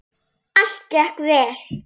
Allt gekk vel.